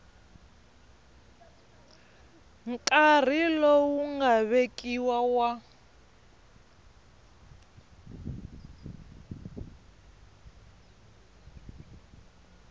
nkarhi lowu nga vekiwa wa